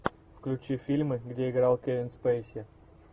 включи фильмы где играл кевин спейси